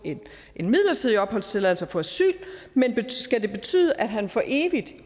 en midlertidig opholdstilladelse og få asyl men skal det betyde at han for evigt